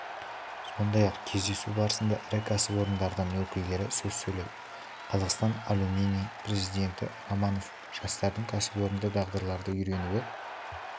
сондай-ақ кездесу барысында ірі кәсіпорындардың өкілдері сөз сөйледі қазақстан алюминийі президенті романов жастардың кәсіпорында дағдыларды үйренуі